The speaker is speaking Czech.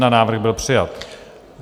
Návrh byl přijat.